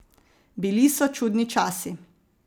Bili so čudni časi.